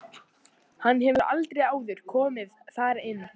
Hann hefur aldrei áður komið þar inn.